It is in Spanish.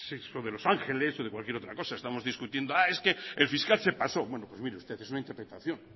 sexo de los ángeles o de cualquier otra cosa estamos discutiendo es que el fiscal se pasó bueno pues mire usted es una interpretación